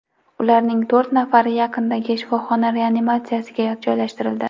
Ularning to‘rt nafari yaqindagi shifoxona reanimatsiyasiga joylashtirildi.